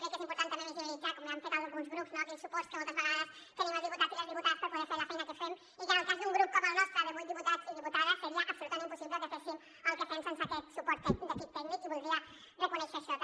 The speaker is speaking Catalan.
crec que és important també visibilitzar com ja han fet alguns grups aquells suports que moltes vegades tenim els diputats i les diputades per poder fer la feina que fem i que en el cas d’un grup com el nostre de vuit diputats i diputades seria absolutament impossible que féssim el que fem sense aquest suport de l’equip tècnic i voldria reconèixer això també